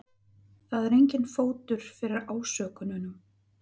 Það er enginn fótur fyrir ásökununum